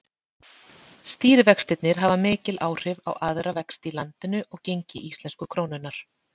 Stýrivextirnir hafa mikil áhrif á aðra vexti í landinu og gengi íslensku krónunnar.